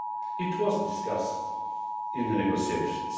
It was discussed in the negotiations.